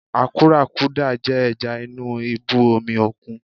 Àkúrákudà jẹ́ ẹja inú ibú omi òkun.